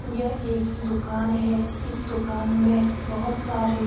यह एक दुकान है। इस दुकान में बहोत सारे --